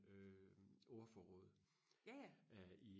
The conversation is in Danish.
øh ordforråd øh i